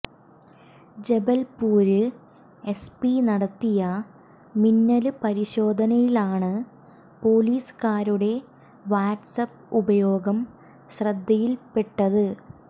Jabalpur SP നടത്തിയ മിന്നല് പരിശോധനയിലാണ് പോലീസുകാരുടെ വാട്സ്ആപ്പ് ഉപയോഗം ശ്രദ്ധയില്പ്പെട്ടത്